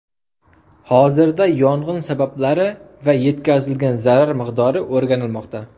Hozirda yong‘in sabablari va yetkazilgan zarar miqdori o‘rganilmoqda.